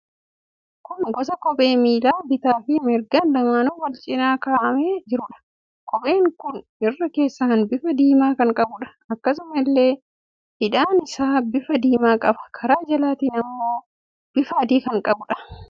Kun gosa kophee miila bitaa fi mirgaan lamaanuu wal cina kaa'amee jiruudha. Kopheen kun irra keessaan bifa diimaa kan qabuudha. Akkasuma illee hidhaan isaas bifa diimaa qaba. Karaa jalaatiin immoo bifa adii qaba.